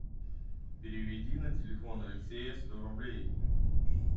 переведи на телефон алексея сто рублей